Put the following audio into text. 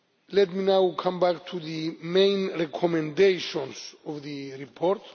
Let me now come back to the main recommendations of the report.